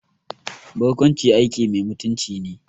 Barkwanci aiki mai mutunci ne